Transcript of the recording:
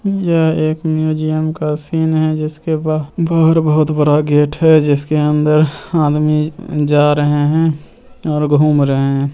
यह एक म्यूजियम का सीन हैं जिसके बहार बहुत बड़ा गेट हैं जिसका अंदर आदमी जा रहे हैं और घूम रहे हैं।